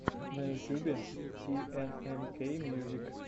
на ютубе тнмкмьюзик